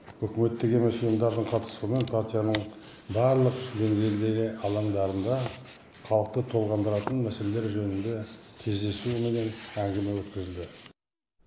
үкіметтік емес ұйымдардың қатысуымен партияның барлық деңгейдегі алаңдарында халықты толғандыратын мәселелер жөнінде кездесу менен әңгіме өткізілді